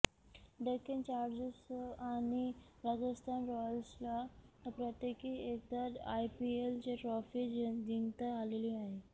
Deccan Chargers आणि राजस्थान रॉयल्सला प्रत्येकी एकदा आयपीएलची ट्रॉफी जिंकता आलेली आहे